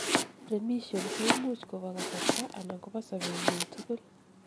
remission koimuch kobo kasarta anan kobo sobetngung tugul